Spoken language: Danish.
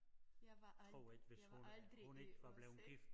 Jeg var aldrig jeg var aldrig det også